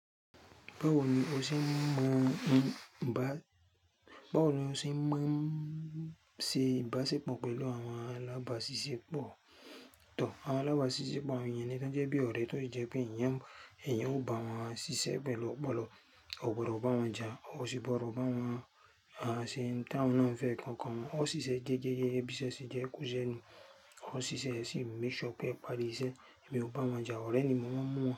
Báwo ni o ṣe ń mo, bá, báwo ni o ṣe ń mo se ibáṣépọ̀ pẹ̀lú àwọn alábàáṣiṣépọ̀? Tò, àwọn alábàáṣiṣépọ̀ wọ̀nyẹn ni tọ́ jẹ́ bí ọ̀rẹ́ tó ì jẹ́ pé ìyẹn, ẹ̀yin ó bá wọn ṣiṣẹ́ pẹ̀lú ọ̀pọ̀lọpọ̀, o kò gbọdọ̀ bá wọn jà, o sì gbọdọ̀ bá wọn, àṣìń, táwọn náà ń fẹ́ kankan wọn, o ṣiṣẹ́ géégéé, ẹbíṣẹ́ sí jẹ́ ikú jẹ́ ni, o ṣiṣẹ́ sí ń mú iṣẹ́ ọkẹ́ ìparí iṣẹ́, ẹmi ò bá wọn jà, ọ̀rẹ́ ni mo máa ń mú wọn.